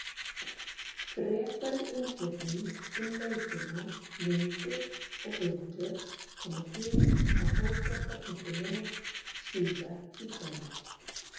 Frekari umfjöllun um leikina, myndir og viðtöl, koma hér á Fótbolta.net síðar í kvöld.